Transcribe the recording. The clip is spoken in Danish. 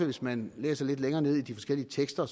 hvis man læser lidt længere nede i de forskellige tekster